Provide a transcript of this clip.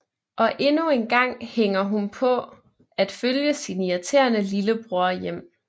Og endnu engang hænger hun på at følge sin irriterende lillebror hjem